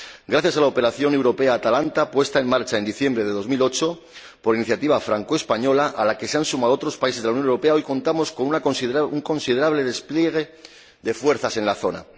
Gracias a la operación europea Atalanta, puesta en marcha en diciembre de 2008 por iniciativa francoespañola —a la que se han sumado otros países de la Unión Europea—, hoy contamos con un considerable despliegue de fuerzas en la zona.